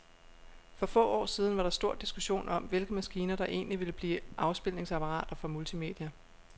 For få år siden var der stor diskussion om, hvilke maskiner, der egentlig ville blive afspilningsapparater for multimedia.